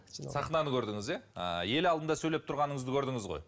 сахнаны көрдіңіз иә ы ел алдында сөйлеп тұрғаныңызды көрдіңіз ғой